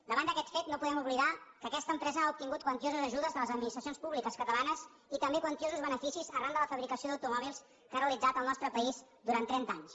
davant d’aquest fet no podem oblidar que aquesta empresa ha obtingut quantioses ajudes de les administracions públiques catalanes i també quantiosos beneficis arran de la fabricació d’automòbils que ha realitzat al nostre país durant trenta anys